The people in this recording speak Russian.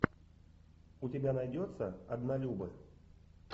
у тебя найдется однолюбы